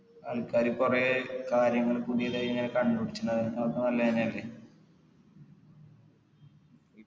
ആൾക്കാര് കൊറേ കാര്യങ്ങള് പുതിയതായിങ്ങനെ കണ്ടുപിടിച്ച് അത് നല്ലേനല്ലേ